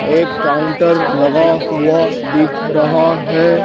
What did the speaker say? एक काउंटर लगा हुआ दिख रहा है।